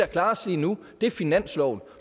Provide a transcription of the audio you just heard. klares lige nu er finansloven